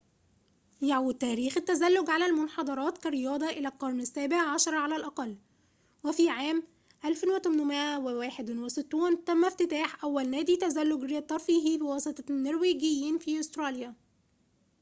يعود تاريخ التزلج على المنحدرات كرياضة إلى القرن السابع عشر على الأقل وفي عام 1861 تم افتتاح أول نادي تزلج ترفيهي بواسطة النرويجيين في أستراليا